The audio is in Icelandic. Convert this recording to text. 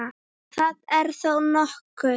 Það er þó nokkuð.